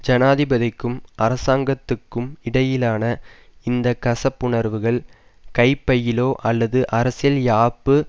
ஜனாதிபதிக்கும் அரசாங்கத்துக்கும் இடையிலான இந்த கசப்புணர்வுகள் கைப்பையிலோ அல்லது அரசியல் யாப்பு